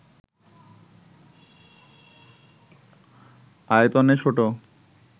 আয়তনে ছোট